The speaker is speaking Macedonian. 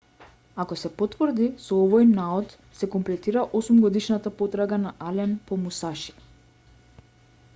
ако се потврди со овој наод се комплетира осумгодишната потрага на ален по мусаши